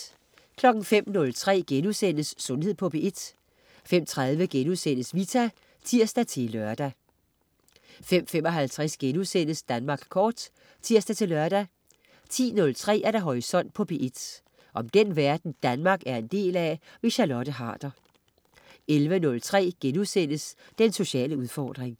05.03 Sundhed på P1* 05.30 Vita* (tirs-lør) 05.55 Danmark Kort* (tirs-lør) 10.03 Horisont på P1. Om den verden Danmark er en del af. Charlotte Harder 11.03 Den sociale udfordring*